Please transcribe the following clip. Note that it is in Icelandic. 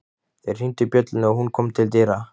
Þeir hringdu bjöllunni og hún kom til dyra.